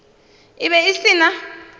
e be e se na